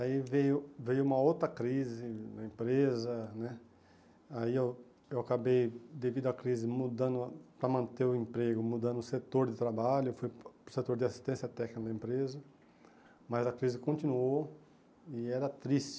Aí veio veio uma outra crise na empresa né, aí eu eu acabei, devido à crise, mudando para manter o emprego, mudando o setor de trabalho, fui para o setor de assistência técnica na empresa, mas a crise continuou e era triste.